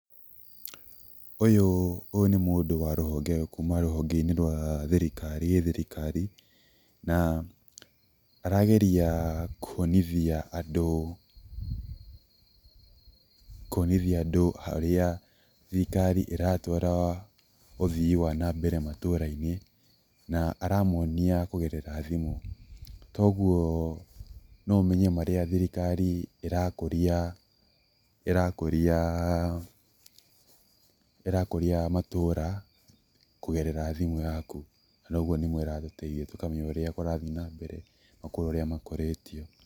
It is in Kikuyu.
Ũyũ nĩ mũndũ kuma rũhonge rwa gĩthirikari na arageria kwonithia andũ, kwonithia andũ harĩa thirikari ĩratwara ũthii wa na mbere matũrainĩ na aramonia kũgerera thimũ, kwoguo no ũmenye marĩa thirikari ĩrakũria, ĩrakũria matũũra kũgerera thimũ yaku, na ũguo nĩguo ĩratũtethia tũkamenya ũrĩa kũrathiĩ na mbere na kũrĩ ũrĩa makũrĩtie.